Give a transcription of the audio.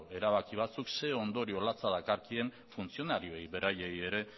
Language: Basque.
erabaki batzuk zein ondorio latza dakarkien funtzionarioei beraiei ere